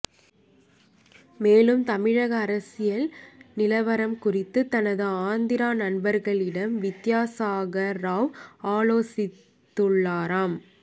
மேலும் தமிழக அரசியல் நிலவரம் குறித்து தனது ஆந்திரா நண்பர்களிடம் வித்தியாசாகர் ராவ் ஆலோசித்துள்ளாராம்